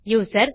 user